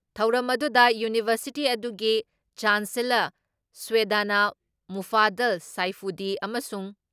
ꯊꯧꯔꯝ ꯑꯗꯨꯨꯗ ꯌꯨꯅꯤꯚꯔꯁꯤꯇꯤ ꯑꯗꯨꯒꯤ ꯆꯥꯟꯆꯦꯂꯔ ꯁꯌꯦꯗꯅ ꯃꯨꯐꯥꯗꯜ ꯁꯥꯏꯐꯨꯗꯤ ꯑꯃꯁꯨꯡ